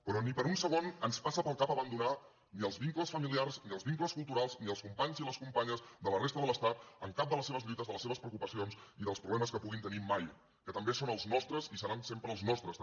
però ni per un segon ens passa pel cap abandonar ni els vincles familiars ni els vincles culturals ni els companys i les companyes de la resta de l’estat en cap de les seves lluites de les seves preocupacions i dels problemes que puguin tenir mai que també són els nostres i seran sempre els nostres també